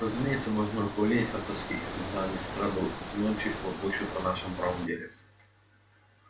разумеется можно околеть от тоски когда они с утра до ночи лопочут о нашем правом деле